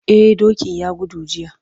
Eh dokin ya gudu jiya.